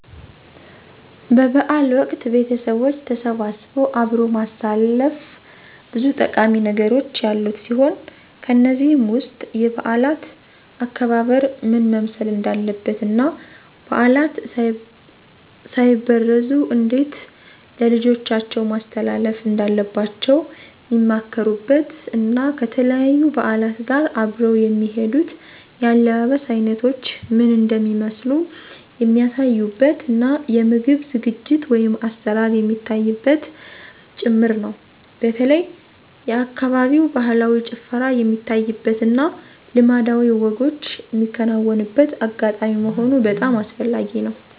በ በዓል ወቅት ቤተቦች ተሰባስበው አብሮ ማሳለፍ ብዙ ጠቃሚ ነገሮች ያሉት ሲሆን ከነዚህም ውስጥ የበዓላት አከባበር ምን መምሰል እንዳለበት እና ባዕላት ሳይበረዙ እንዴት ለልጆቻቸው ማስተላለፍ እንዳለባቸዉ ሚመካከሩበት እና ከተለያዩ በዓላት ጋር አብረው የሚሄዱት የአለባበስ አይነቶች ምን እንደሚመስሉ የሚያሳዩበት እና የምግብ ዝግጅት(አሰራር) የሚታይበትም ጭምር ነው። በተለይ የአካባቢው ባህላዊ ጭፈራ የሚታይበት እና ልማዳዊ ወጎች ሚከናወንበት አጋጣሚ መሆኑ በጣም አስፈላጊ ነው።